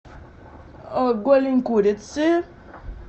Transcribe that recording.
голень курицы